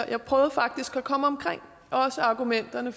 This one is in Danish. jeg prøvede faktisk at komme omkring argumenterne